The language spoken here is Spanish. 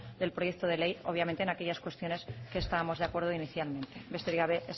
del proyecto de ley obviamente en aquellas cuestiones que estábamos de acuerdo inicialmente besterik gabe